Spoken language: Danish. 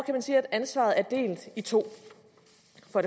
man sige at ansvaret er delt i to